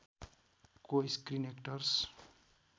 को screen actors